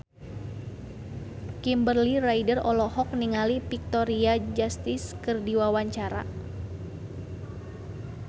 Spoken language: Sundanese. Kimberly Ryder olohok ningali Victoria Justice keur diwawancara